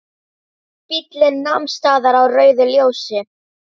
Bíllinn nam staðar á rauðu ljósi.